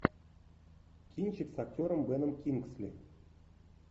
кинчик с актером беном кингсли